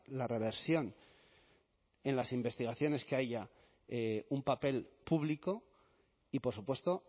la reversión en las investigaciones que haya un papel público y por supuesto